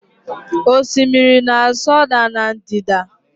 Osimiri na-asọda na ndịda